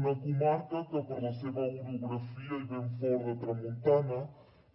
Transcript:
una comarca que per la seva orografia i vent fort de tramuntana